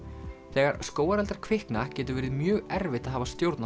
þegar skógareldar kvikna getur verið mjög erfitt að hafa stjórn á